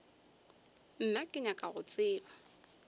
nna ke nyaka go tseba